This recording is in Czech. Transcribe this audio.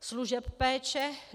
služeb péče.